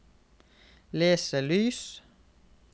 leselys